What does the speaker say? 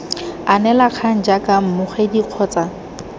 anela kgang jaaka mmogedi kgotsa